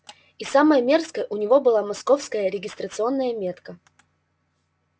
и самое мерзкое у него была московская регистрационная метка